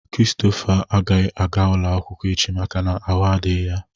Christopher agaghị aga ụlọakwụkwọ echi maka na ahụ adịghị ya.